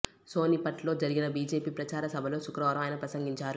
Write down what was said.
సోనిపట్ లో జరిగిన బీజేపీ ప్రచార సభలో శుక్రవారం ఆయన ప్రసంగించారు